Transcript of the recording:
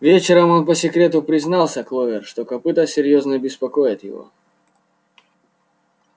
вечером он по секрету признался кловер что копыто серьёзно беспокоит его